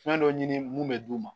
Fɛn dɔ ɲini mun bɛ d'u ma